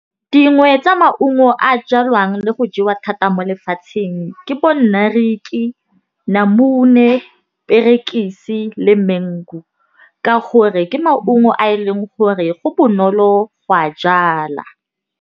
Dingwe tsa maungo a jalwang le go jewa thata mo lefatsheng ke bo nariki, namune, perekisi le mengu. Ka gore ke maungo a e leng gore go bonolo go a jala.